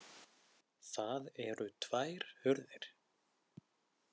Það eru tvær hurðir.